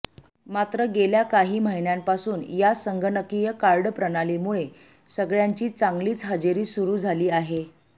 मात्र गेल्या काही महिन्यांपासून या संगणकीय कार्डप्रणालीमुळे सगळय़ांची चांगलीच हजेरी सुरू झाली आहे